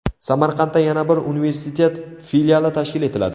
Samarqandda yana bir universitet filiali tashkil etiladi.